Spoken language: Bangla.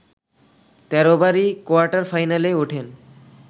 ১৩ বারই কোয়ার্টার ফাইনালে ওঠেন